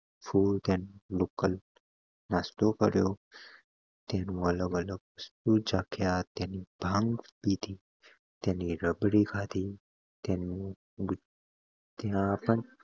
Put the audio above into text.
નાસ્તો કર્યો તેનો અલગ અલગ ચાખ્યા તેની ભંગ પીધી તેની રબડી ખાધી તેનું બુ ત્યાં પણ